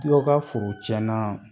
Dɔw ka foro tiɲɛna